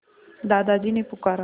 दादाजी ने पुकारा